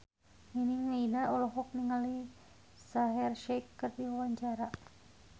Nining Meida olohok ningali Shaheer Sheikh keur diwawancara